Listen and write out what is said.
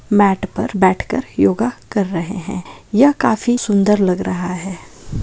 मैट पर बैठकर योगा कर रहे हैं यह काफी सुंदर लग रहा है।